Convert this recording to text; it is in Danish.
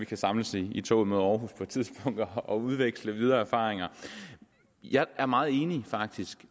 kan samles i toget mod aarhus på et tidspunkt og udveksle videre erfaringer jeg er faktisk meget enig